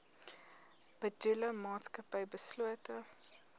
bedoelde maatskappy beslote